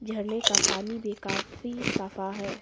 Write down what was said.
झरने का पानी भी काफी सफा है।